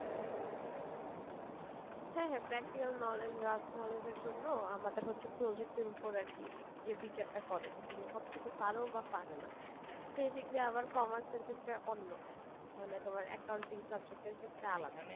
হ্যাঁ হ্যাঁ practical knowledge vast knowledge এর জন্য আমাদের হচ্ছে project এর উপর আর কি যে বিচারটা করে যে তুমি কতটুকু পারো বা পারো না সেই দিক দিয়ে আবার commerce এর ক্ষেত্রে অন্য মানে তোমার accounting subject এর ক্ষেত্রে আলাদা